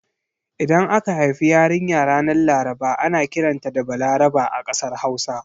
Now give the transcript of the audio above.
Idan aka haifi yarinya ranar Laraba ana kiranta da 'Balaraba' a kasar Hausa.